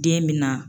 Den bɛ na